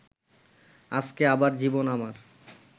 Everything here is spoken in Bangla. আজকে আবার জীবন আমার